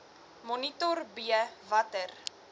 monitor b watter